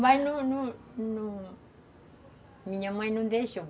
Mas não não... Minha mãe não deixou.